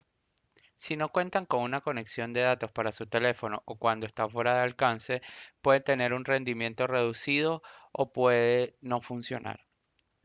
si no cuenta con una conexión de datos para su teléfono o cuando está fuera de alcance puede tener un rendimiento reducido o puede no funcionar